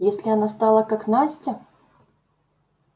если она стала как настя